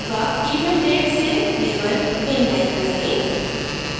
event date से label inline करें